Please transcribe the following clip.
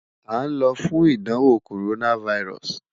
a n lọ fun idanwo coronavirus